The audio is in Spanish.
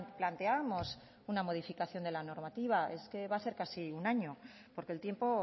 planteábamos una modificación de la normativa es que va a hacer casi un año porque el tiempo